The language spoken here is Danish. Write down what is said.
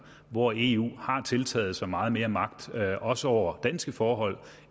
hvor eu har tiltaget sig meget mere magt også over danske forhold